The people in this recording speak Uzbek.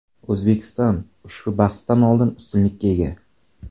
O‘zbekiston ushbu bahsdan oldin ustunlikka ega.